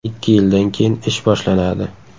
Ikki yildan keyin ish boshlanadi.